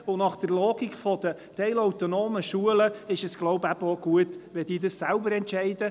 » Ich glaube, nach der Logik der teilautonomen Schulen ist es eben auch gut, wenn sie dies selber entscheiden.